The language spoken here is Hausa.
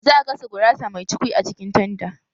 Za a gasa gurasa mai cukwi a cikin tanda